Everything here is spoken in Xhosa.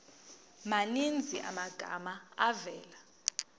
maninzi amagama avela